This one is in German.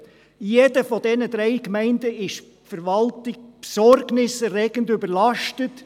In jeder dieser drei Gemeinden ist die Verwaltung besorgniserregend überlastet.